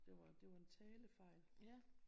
Det var en talefejl